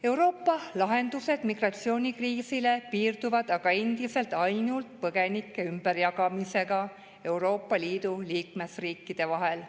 Euroopa lahendused migratsioonikriisile piirduvad aga endiselt ainult põgenike ümberjagamisega Euroopa Liidu liikmesriikide vahel.